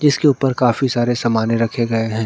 इसके ऊपर काफी सारे समाने रखे गए है।